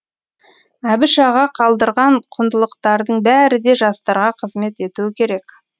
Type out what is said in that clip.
әбіш аға қалдырған құндылықтардың бәрі де жастарға қызмет етуі керек